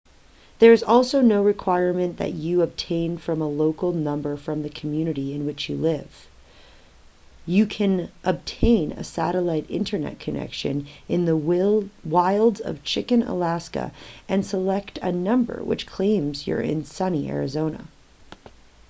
there is also no requirement that you obtain a local number from the community in which you live you can obtain a satellite internet connection in the wilds of chicken alaska and select a number which claims you're in sunny arizona